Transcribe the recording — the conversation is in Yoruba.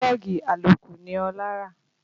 Pílọ́ọ̀gì àlòkù ni Ọlá rà